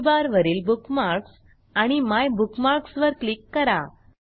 menu bar वरील bookmarks आणि my bookmarks वर क्लिक करा